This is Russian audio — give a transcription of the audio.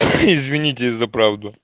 извините за правду